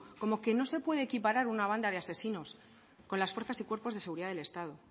como que no se puede equiparar una banda de asesinos con las fuerzas y cuerpos de seguridad del estado